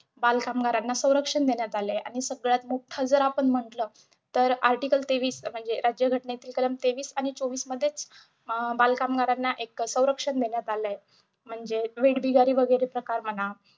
बालकामगारांना संरक्षण देण्यांत आलय आणि सगळ्यात मोठं जर आपण म्हंटल तर article तेवीस म्हणजे राज्यघटनेतील कलम तेवीस आणि चोवीसमध्येच अं बालकामगारांना एक संरक्षण देण्यात आलंय म्हणजे वेठबिगारी वैगरेच काम म्हणा.